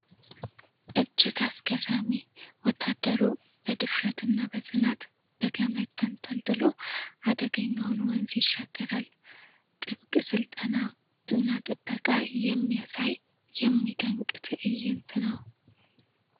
እጅግ አስገራሚ! ወታደሩ በድፍረት እና በጽናት በገመድ ተንጠልጥሎ አደገኛውን ወንዝ ይሻገራል ። ጥብቅ ስልጠና እና ብቃት የሚያሳይ የሚደንቅ ትዕይንት ነው።